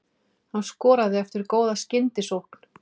Hann skoraði eftir góða skyndisókn.